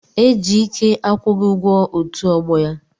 Ejike akwụghị ugwo otu ogbo ya.